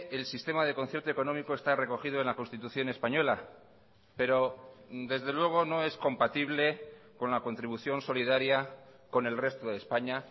el sistema de concierto económico está recogido en la constitución española pero desde luego no es compatible con la contribución solidaria con el resto de españa